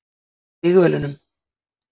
Hann var í stígvélunum.